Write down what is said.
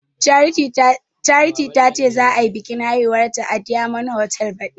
Charity tace za ayi biƙin aihuwanta a diyamond hotal baɗi